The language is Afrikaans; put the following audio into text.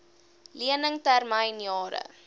lening termyn jare